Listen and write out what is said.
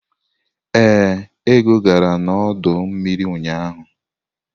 Ee, Ego gara n'ọdọ mmiri ụnyahụ.